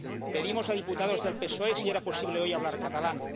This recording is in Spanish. Pedimos a diputados del PSOE si era posible hoy hablar en catalán.